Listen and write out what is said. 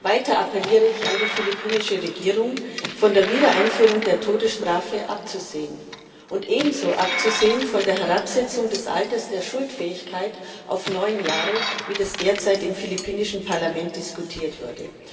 Weiter appelliere ich an die philippinische Regierung, von der Wiedereinführung der Todesstrafe abzusehen und ebenso abzusehen von der Herabsetzung des Alters der Schuldfähigkeit auf neun Jahre, wie das derzeit im philippinischen Parlament diskutiert wird.